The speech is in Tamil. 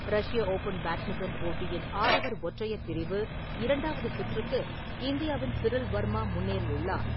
ரஷ்ய ஓப்பன் பேட்மிண்டன் போட்டியின் ஆடவர் ஒற்றையர் பிரிவு இரண்டாவது சுற்றுக்கு இந்தியாவின் சிரில் வர்மா முன்னேறியுள்ளார்.